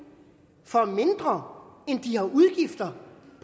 for mindre end de har udgifter